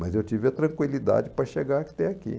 Mas eu tive a tranquilidade para chegar até aqui.